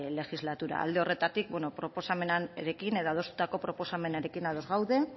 legislatura alde horretatik bueno proposamenarekin edo adostutako proposamenarekin ados gaude